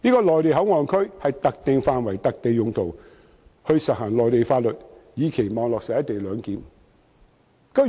內地口岸區有特定的範圍和用途，執行內地法律，以期落實"一地兩檢"。